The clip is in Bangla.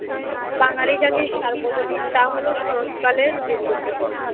বাঙালি জাতির সার্বজনীন, তা হল শরৎকালের দুর্গোপুজো।